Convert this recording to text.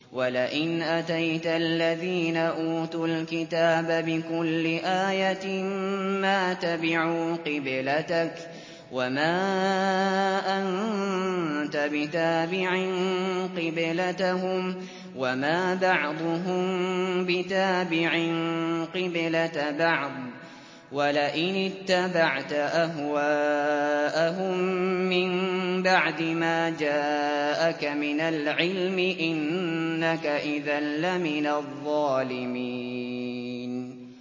وَلَئِنْ أَتَيْتَ الَّذِينَ أُوتُوا الْكِتَابَ بِكُلِّ آيَةٍ مَّا تَبِعُوا قِبْلَتَكَ ۚ وَمَا أَنتَ بِتَابِعٍ قِبْلَتَهُمْ ۚ وَمَا بَعْضُهُم بِتَابِعٍ قِبْلَةَ بَعْضٍ ۚ وَلَئِنِ اتَّبَعْتَ أَهْوَاءَهُم مِّن بَعْدِ مَا جَاءَكَ مِنَ الْعِلْمِ ۙ إِنَّكَ إِذًا لَّمِنَ الظَّالِمِينَ